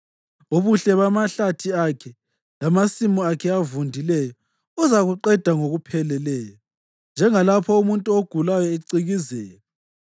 Ubuhle bamahlathi akhe lamasimu akhe avundileyo, uzakuqeda ngokupheleleyo njengalapho umuntu ogulayo ecikizeka.